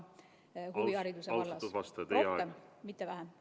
... et pakkuda teenuseid ka huvihariduse vallas rohkem, mitte vähem.